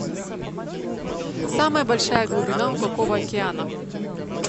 самая большая глубина у какого океана